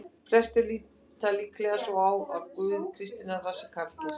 Flestir líta líklega svo á að Guð kristninnar sé karlkyns.